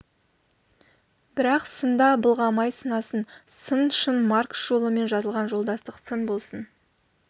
бірақ сында былғамай сынасын сын шын маркс жолымен жазылған жолдастық сын болсын